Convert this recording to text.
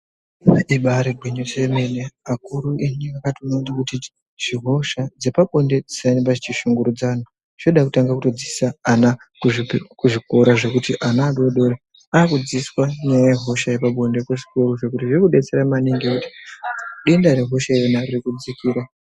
Ibari gwinyiso remene vakuru edu akaona kuti zvirwere zvehosha zvepabonde zvisarambe zvichi shungurudza anhu zvinotida kutotanga kudzidzisa ana kuzvikora zvekuti ana adodori ava kudzidziswa nyaya yehosha yepabonde kuzvikoro ende zviri kudetsera maningi nekuti denda rehosha ririkudzika.